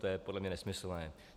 To je podle mě nesmyslné.